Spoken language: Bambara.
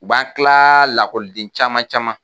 U b'a tila lakɔliden caman caman